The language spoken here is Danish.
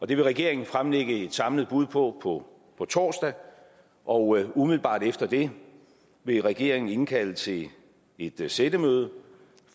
det vil regeringen fremlægge et samlet bud på på torsdag og umiddelbart efter det vil regeringen indkalde til et sættemøde